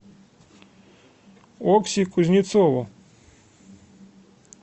окси кузнецову